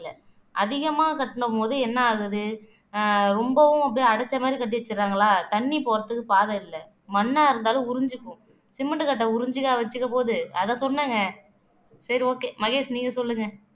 அதிகமா கட்டுன போது என்ன ஆகுது ஆஹ் ரொம்பவும் அப்படியே அடைச்ச மாதிரி கட்டி வச்சிடுறாங்களா தண்ணி போறதுக்கு பாதை இல்ல மண்ணா இருந்தாலும் உறிஞ்சிக்கும் சிமெண்ட் கட்டை உறிஞ்சிக்கா வச்சிக்க போது அத சொன்னேங்க சரி okay மகேஷ் நீங்க சொல்லுங்க